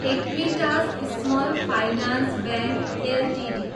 Equitas small finance bank Ltd